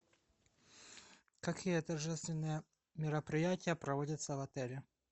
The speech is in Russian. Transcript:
какие торжественные мероприятия проводятся в отеле